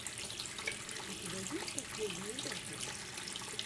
у тебя есть последние батл